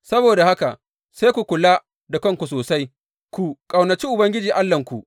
Saboda haka sai ku kula da kanku sosai, ku ƙaunaci Ubangiji Allahnku.